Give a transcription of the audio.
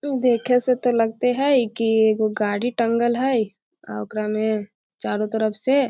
हु देखे से ते लगते हेय की एगो गाड़ी टंगल हेय अ ओकरा में चारो तरफ से --